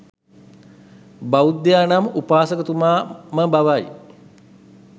බෞද්ධයා නම් උපාසකතුමා ම බවයි.